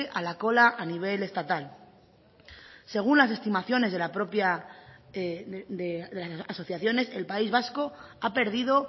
a la cola a nivel estatal según las estimaciones de las propias asociaciones el país vasco ha perdido